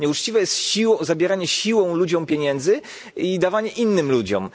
Nieuczciwe jest zabieranie siłą ludziom pieniędzy i dawanie ich innym ludziom.